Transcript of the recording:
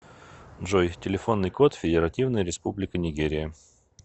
джой телефонный код федеративная республика нигерия